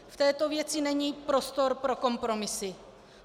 V této věci není prostor pro kompromisy.